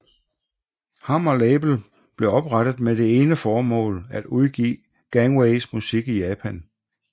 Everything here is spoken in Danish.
Hammer Label blev oprettet med det ene formål at udgive Gangways musik i Japan